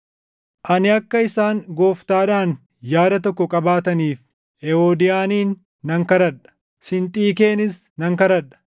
Ani akka isaan Gooftaadhaan yaada tokko qabaataniif Ewoodiyaanin nan kadhadha; Sinxiikeenis nan kadhadha.